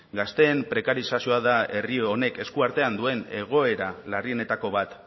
gazteen prekarizazioa da herri honek esku artean duen egoera larrienetako bat